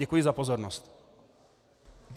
Děkuji za pozornost.